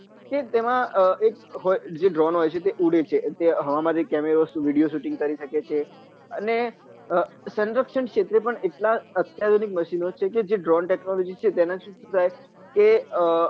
કે તેમાં એક Drone હોય છે જે ઉડે છે જે હવા માં જઈને વિડીયો સુટીંગ કરી સકે છે અને સનરક્ષણ ક્ષેત્રે પન કેટલાયે આત્યાર્ઘી મશીનો છે જે Drone technology તેના થી શુ થાય કે અમ